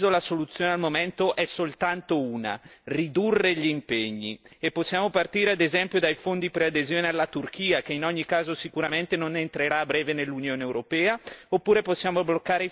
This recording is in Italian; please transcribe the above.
E possiamo partire ad esempio dai fondi preadesione alla Turchia, che in ogni caso sicuramente non entrerà a breve nell'Unione europea, oppure possiamo bloccare i finanziamenti al nucleare o cancellare i finanziamenti alle fondazioni politiche.